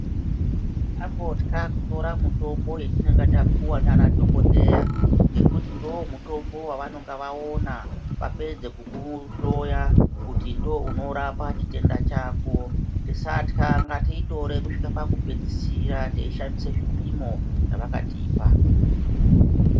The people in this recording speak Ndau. Tisangotka kutora mitombo yatinenge tapuwa nemadhokodheya nekuti ndomutombo wavanenge vawona vapedza kukuhloya kuti ndounarapa chitenda chako tiska ngatiitore kusvika pakupedzisira tichishandisa zvipimo zvavakatipa.